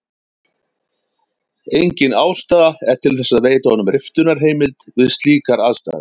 Engin ástæða er til þess að veita honum riftunarheimild við slíkar aðstæður.